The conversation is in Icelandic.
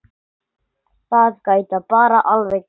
Það gæti bara alveg gerst!